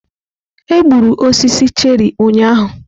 Egburu osisi cherị ụnyaahụ.